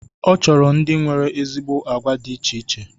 Ọ chọrọ ndị nwere ezigbo agwa dị iche iche.